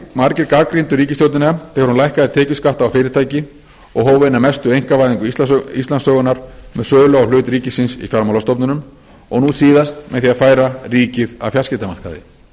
margir gagnrýndu ríkisstjórnina þegar hún lækkaði tekjuskatta á fyrirtæki og hóf eina mestu einkavæðingu íslandssögunnar með sölu á hlut ríkisins í fjármálastofnunum og nú síðast með því að færa ríkið af fjarskiptamarkaði